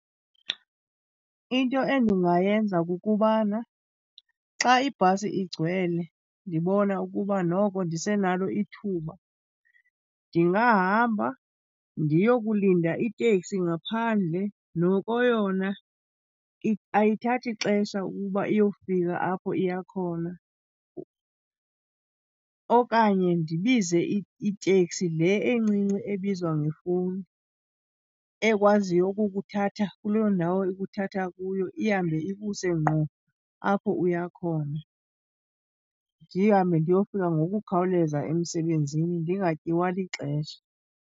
Into endingayenza kukubana xa ibhasi igcwele, ndibona ukuba noko ndisenalo ithuba, ndingahamba ndiyokulinda iteksi ngaphandle. Noko yona ayithathi xesha ukuba iyofika apho iya khona. Okanye ndibize iteksi le encinci ebizwa ngefowuni, ekwaziyo ukukuthatha kuloo ndawo ikuthatha kuyo ihambe ikuse ngqo apho uya khona. Ndihambe ndiyofika ngokukhawuleza emsebenzini ndingatyiwa lixesha.